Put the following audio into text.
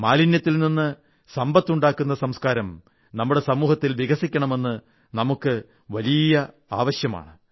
മാലിന്യത്തിൽ നിന്ന് സമ്പത്ത് ഉണ്ടാക്കുന്ന സംസ്കാരം നമ്മുടെ സമൂഹത്തിൽ വികസിക്കണമെന്നത് നമ്മുടെ വലിയ ആവശ്യമാണ്